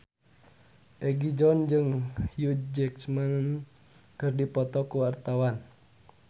Egi John jeung Hugh Jackman keur dipoto ku wartawan